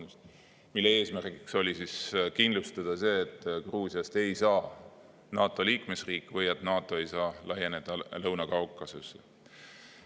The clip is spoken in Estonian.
Selle eesmärk oli kindlustada see, et Gruusiast ei saa NATO liikmesriik või et NATO ei saa laieneda Lõuna-Kaukasusse.